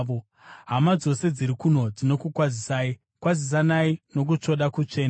Hama dzose dziri kuno dzinokukwazisai. Kwazisanai nokutsvoda kutsvene.